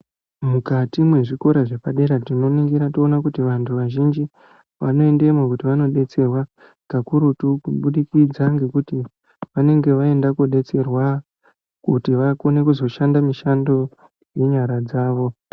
Mukati mwezvikora zvepadera tinoningira toona kuti vanthu vazhinji vanoendemo kuti vandodetserwa kakurutu kubudikidza ngekuti vanenge vaenda kodetserwa kuti vakone kuzoshanda mishando nenyara dzavo.